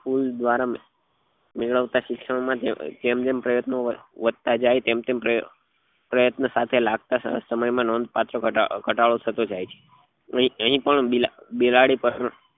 school દ્વારા મેળવતા શિક્ષણ માં જેમ જેમ પ્રયત્નો વધતા જાય તેમ તેમ પ્રયત્ન સાથે લાગતા સમય માં નોંધ પાત્ર ઘટાડો થતો જાય છે અહી પણ બીલ બિલાડી પર